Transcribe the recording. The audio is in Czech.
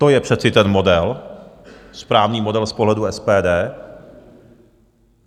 To je přece ten model, správný model z pohledu SPD.